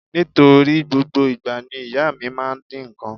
Nítorí gbogbo ìgbà ni ìyá mi máa ń dín nǹkan.